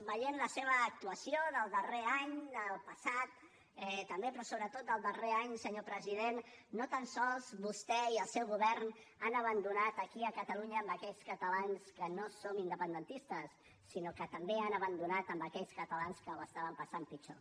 veient la seva actuació del darrer any del passat també però sobretot del darrer any senyor president no tan sols vostè i el seu govern han abandonat aquí a catalunya aquells catalans que no som independentistes sinó que també han abandonat aquells catalans que ho estaven passant pitjor